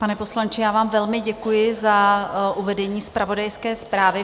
Pane poslanče, já vám velmi děkuji za uvedení zpravodajské zprávy.